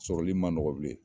Sɔrɔli ma nɔgɔ bilen.